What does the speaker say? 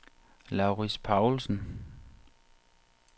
Laurits Paulsen